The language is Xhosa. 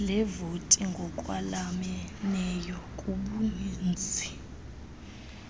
leevoti ngokwalameneyo kubuninzi